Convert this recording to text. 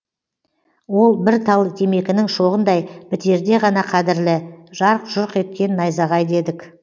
ол бір тал темекінің шоғындай бітерде ғана қадірлі жарқ жұрқ еткен найзағай дедік